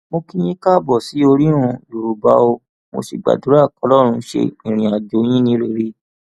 mo kí yín káàbọ sí orírun yorùbá o mo sì gbàdúrà kọlọrun ṣe ìrìnàjò yín ní rere